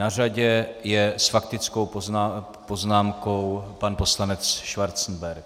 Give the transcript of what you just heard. Na řadě je s faktickou poznámkou pan poslanec Schwarzenberg.